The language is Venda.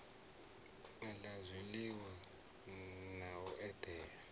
la zwiliwa na u edela